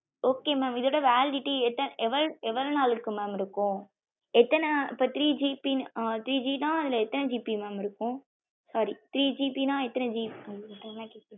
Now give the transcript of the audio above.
okay mam இதோட validity எவளோ நாளக்கு mam இருக்கும் எத்தன இப்போ three GB ஆ three G ந அதுல எத்தன GBsorrythree GB எத்தன?